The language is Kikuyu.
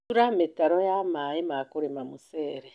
Tura mĩtaro ya Mai ma kũrĩma mũcere.